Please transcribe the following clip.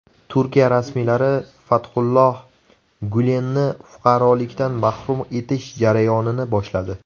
Turkiya rasmiylari Fathulloh Gulenni fuqarolikdan mahrum etish jarayonini boshladi.